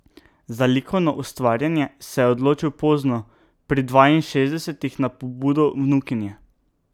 Za likovno ustvarjanje se je odločil pozno, pri dvainšestdesetih, na pobudo vnukinje.